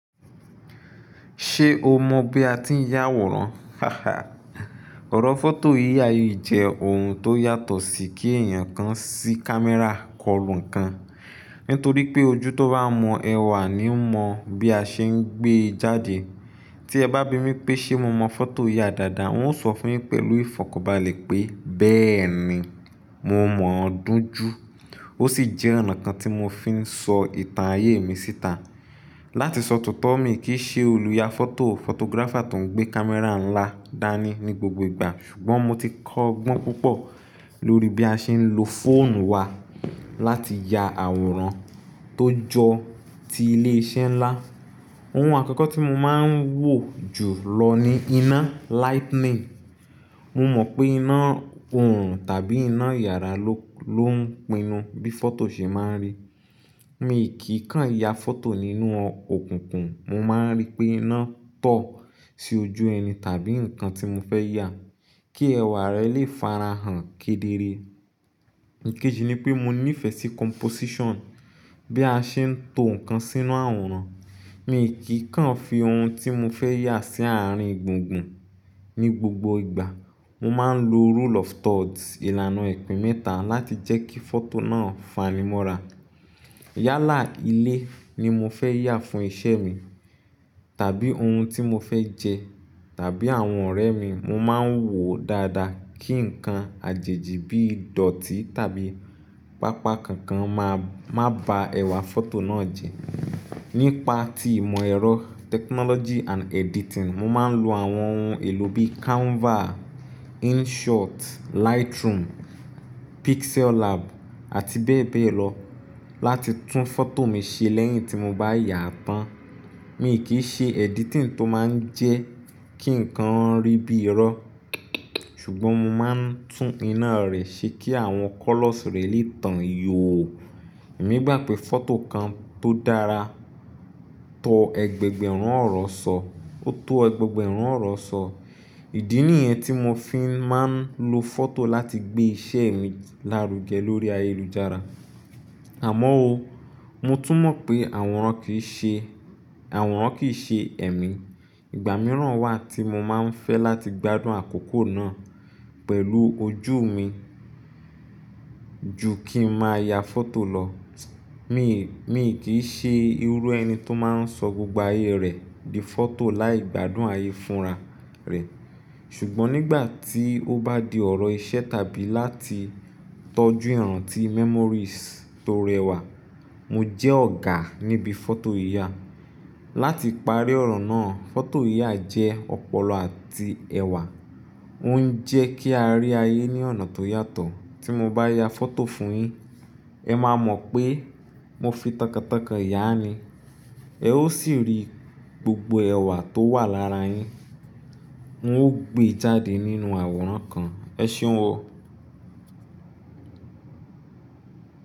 Ṣé o mọ̀ bí a ti ń ya àwòrán? Ọ̀rọ̀ fọ́tò yíyà yìí jẹ́ ohun tó yàtọ̀ sí kí èèyàn kan sí kámẹ́rà kọlu nǹkan. Nítorí pé ojú tó bá mọ ẹ wà ní ń mọ bí a ṣe ń gbé e jáde. Ti e ba bimi pe se mo mo foto yaa daadaa, n o so funyin pelu ifokanbale pe beeni, mo mo doju. Ó sì jẹ́ ọ̀nà kan tí mo fi ń sọ ìtàn ayé mi síta. Lati so tooto, mi ki i se oluyafoto, photographer to n gbe camera nla dani ni gbogbo igba. Sugbon mo ti ko ogbon pupo lori bi a se n lo foonu wa lati ya aworan to jo ti ile ise nla. Ohun àkọ́kọ́ tí mo máa ń wò jùlọ ni iná, lightning. Mo mọ̀ pé iná òòrùn tàbí iná yàrá ló ń pinnu bí fọ́tò ṣe máa ń rí. Mi kì í kan ya fọ́tò nínú òkùnkùn, mo máa ń rí pé iná tan sí ojú ẹni tàbí nǹkan tí mo fẹ́ yà, kí ẹwà rẹ̀ lè farahàn kedere. Ìkéji nipé mo níìfẹ̀ sí composition, bí a ṣe ń to nǹkan sínú àwòrán. Mi kì í kan fi ohun tí mo fẹ́ yà sí àárín gbùngbùn. Ni gbogbo ìgbà, mo máa ń lo rule of thirds, ìlànà ìpín mẹ́ta láti jẹ́ kí fọ́tò náà fanimọ́ra. Yálà ilé ni mo fẹ́ yà fún iṣẹ́ mi, tàbí ohun tí mo fẹ́ jẹ, tàbí àwọn ọ̀rẹ́ mi, mo máa ń wòó dáadáa kí nǹkan àjèjì bí ìdọ̀tí tàbí pápá kankan má ba ẹwà fọ́tò náà jẹ́. Nípa ti ìmọ̀ ẹ̀rọ, technology and editing, mo máa ń lo àwọn ohun èlò bí Canva, InShot, Lightroom, PixelLab àti bẹ́ẹ̀ bẹ́ẹ̀ lọ láti tún fọ́tò mi ṣe lẹ́yìn tí mo bá yaa tán. Mi kì í ṣe editing tó máa ń jẹ́ kí nǹkan rí bí irọ́, ṣùgbọ́n mo máa ń tún iná rẹ̀ ṣe kí àwọn colours rẹ̀ lè tàn yóò. Èmi gbà pé fọ́tò kan tó dára tó ẹgbẹgbẹ̀rún ọ̀rọ̀ sọ, ó tó ẹgbẹgbẹ̀rún ọ̀rọ̀ sọ. Ìdí nìyẹn tí mo fi máa ń lo fọ́tò láti gbé iṣẹ́ mi lárugẹ lórí ayélujára. Àmọ́ ó, mo tún mọ̀ pé àwọràn kì í ṣe, àwọràn kì í ṣe ẹ̀mí. Ìgbà mìíràn wà tí mo máa ń fẹ́ láti gbádùn àkókò náà pẹ̀lú ojú mi ju kí n máa ya fọ́tò lọ. Mi, mi kì í ṣe irú ẹni tó máa ń sọ gbogbo ayé rẹ̀ di fọ́tò láì gbádùn ayé fúnra rẹ̀. Ṣùgbọ́n nígbà tí ó bá di ọ̀rọ̀ iṣẹ́ tàbí láti tọ́jú ìràntí memories tó rẹwà, mo jẹ́ ọ̀gá níbi fọ́tò yiyà. Láti parí ọ̀rọ̀ náà, fọ́tò yà jẹ́ ọ̀pọ̀lọpọ̀ àti ẹwà. Ó ń jẹ́ kí a rí ayé ní ọ̀nà tó yàtọ̀. Tí mo bá ya fọ́tò fún yín, ẹ máa mọ̀ pé mo fi tọkàntọkàn yà á ni. Ẹ ó sì rí gbogbo ẹwà tó wà lára yín, ń ó gbé e jáde nínú àwòrán kan. Ẹ ṣéun o.